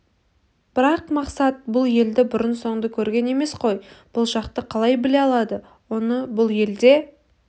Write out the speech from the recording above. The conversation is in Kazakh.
бірақ мақсат бұл елді бұрын-соңды көрген емес қой бұл жақты қалай біле алады оны бұл елде